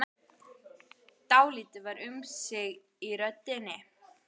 Dálítið var um sig í röddinni.